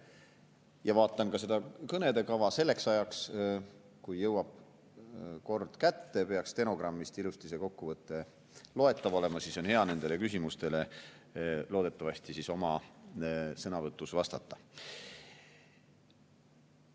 Ja vaatan seda kõnede kava: selleks ajaks, kui jõuab kätte sinu kord, peaks stenogrammist ilusti kokkuvõte loetav olema, siis on hea nendele küsimustele loodetavasti oma sõnavõtus vastata.